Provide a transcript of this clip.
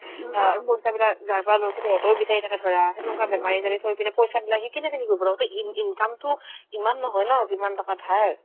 আৰু পইচাবিলাক যাৰ পৰা লই ছাগে সিহঁতেও বিচাৰি থাকে ধৰা সেনেকুৱা বেমাৰীজনী থৈ পিনে পইচাবিলাক সি কেনেকে কি কৰিব ন ইন ~ income তো ইমান নহয় ন যিমান টকা ধাৰ